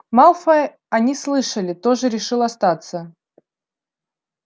малфой они слышали тоже решил остаться